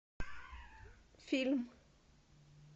фильм